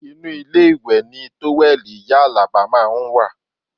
Inú ilé ìwẹ̀ ni tówẹ́ẹ̀lì ìyá Alaba máa ń wà